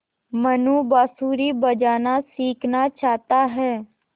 मनु बाँसुरी बजाना सीखना चाहता है